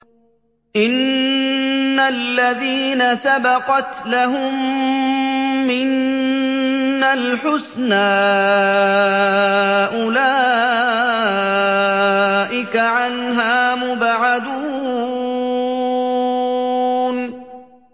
إِنَّ الَّذِينَ سَبَقَتْ لَهُم مِّنَّا الْحُسْنَىٰ أُولَٰئِكَ عَنْهَا مُبْعَدُونَ